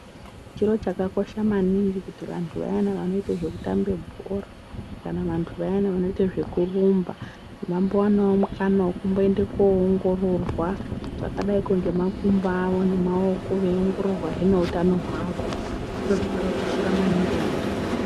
Chiro chakakosha maningi kuti vantu vayana vanoite zveku tambe bhora kana vantu vayani vanoite zvekurumba vambo wanawo mukana wekumboende koongororwa zvakadaiko ngemakumbo awo nemaoko veyi ongororwahee neutano hwawo zviro zvakava koshera maningi vantuvo.